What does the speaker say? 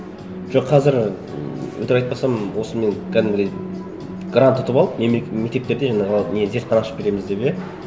жоқ қазір ммм өтірік айтпасам осымен кәдімгідей грант ұтып алып и мектептерде жаңағы не зертхана ашып береміз деп иә